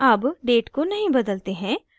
अब date को नहीं बदलते हैं